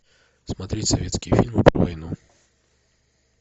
смотреть советские фильмы про войну